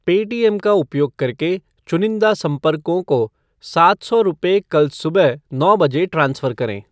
Paytm का उपयोग करके चुनिंदा संपर्कों को सात सौ रुपये कल सुबह नौ बजे ट्रांसफ़र करें ।